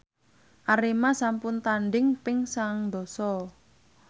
Arema sampun tandhing ping sangang dasa